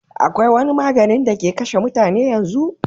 akwai wani maganin da ke kashe mutane yanzu